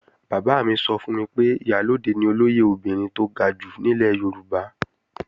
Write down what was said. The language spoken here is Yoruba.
Bàbá mi sọ fún mi pé Ìyálóde ni olóyè obìnrin tó ga jù nílẹ̀ Yorùbá